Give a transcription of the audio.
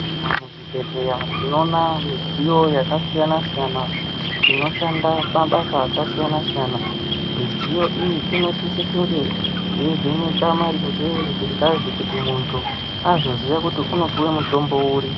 Mamuzvibhehleya tinoona midziyo yakasiyana-siyana inoshanda mabasa akasiyana-siyana. Midziyo iyi inosise kunge yeivheneke maringe ngengazi kuti muntu kuti azoziye kuti unopuwe mutombo uri.